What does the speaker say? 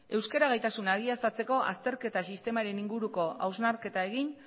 euskara gaitasuna egiaztatzeko azterketa sistemaren inguruko hausnarketa egin